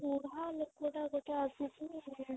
ବୁଢା ଲୋକଟା ଗୋଟେ ଆସିକିରି